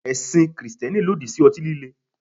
Ẹ̀sìn Kristẹni lòdì sí ọtí líle.